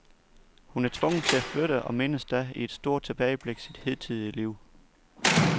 Hun er tvunget til at flytte og mindes da i et stort tilbageblik sit hidtidige liv.